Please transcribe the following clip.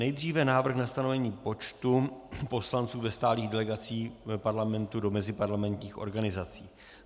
Nejdříve návrh na stanovení počtu poslanců ve stálých delegacích Parlamentu do meziparlamentních organizací.